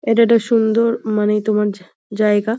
এটা একটা সুন্দর মানে তোমার জায়গা।